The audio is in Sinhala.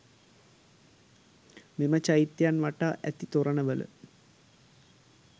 මෙම චෛත්‍යයන් වටා ඇති තොරණවල